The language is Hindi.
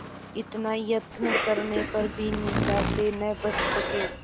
इतना यत्न करने पर भी निंदा से न बच सके